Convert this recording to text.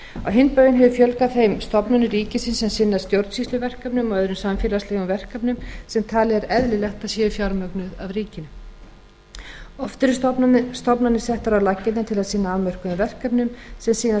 hinn bóginn hefur fjölgað þeim stofnunum ríkisins sem sinna stjórnsýsluverkefnum og öðrum samfélagslegum verkefnum sem talið er eðlilegt að séu fjármögnuð af ríkinu oft eru stofnanir settar á laggirnar til að sinna afmörkuðum verkefnum sem síðan vinda upp á